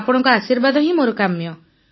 ଆପଣଙ୍କ ଆଶୀର୍ବାଦ ମୋର କାମ୍ୟ